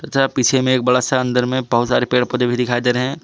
तथा पीछे में एक बड़ा सा अंदर में बहुत सारे पेड़ पौधे भी दिखाई दे रहे हैं।